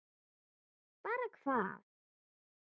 Bara hvað?